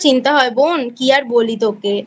চিন্তা হয় বোন কী আর বলি তোকে